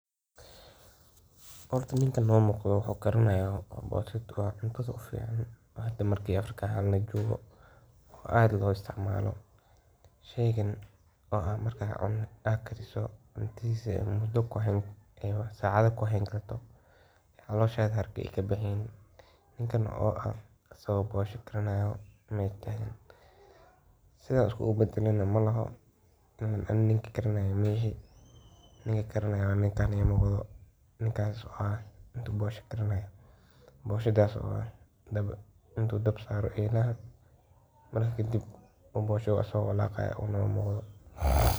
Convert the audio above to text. Horta ninkan nomuqdih waxu karinahaya booshada inkastoo oo kuficantaha marki Afrika lajokoh aad lo isticmaloh, sheeygan wa sheey kacantisa Aya dhab sacatha kuxirankartoh, ceerka kabaxeynin asago bosha karinayo ayu sethasi isgikadeh malahoo Anika magaranayi ininkas intu bosha karinayo booshada intu dhab saaroh elahaa kadib booshada asaga walaqaya.